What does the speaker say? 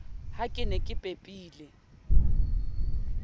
ha ke ne ke pepile